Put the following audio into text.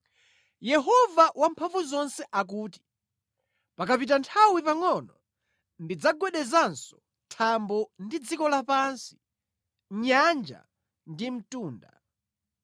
“Yehova Wamphamvuzonse akuti, ‘Pakapita nthawi pangʼono ndidzagwedezanso thambo ndi dziko lapansi, nyanja ndi mtunda.